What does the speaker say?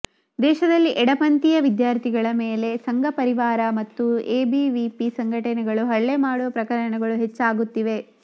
ದೇಶದಲ್ಲಿ ಎಡಪಂಥೀಯ ವಿದ್ಯಾರ್ಥಿಗಳ ಮೇಲೆ ಸಂಘ ಪರಿವಾರ ಮತ್ತು ಎಬಿವಿಪಿ ಸಂಘಟನೆಗಳು ಹಲ್ಲೆ ಮಾಡುವ ಪ್ರಕರಣಗಳು ಹೆಚ್ಚಾಗುತ್ತಿವೆ